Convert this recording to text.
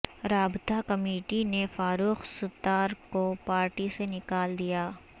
رابطہ کمیٹی نے فاروق ستار کو پارٹی سے نکال دیا